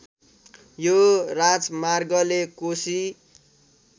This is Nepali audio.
यो राजमार्गले कोशी